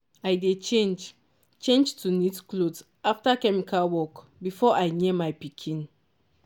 i dey change change to neat cloth after chemical work before i near my pikin.